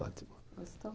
Ótimo. Gostou?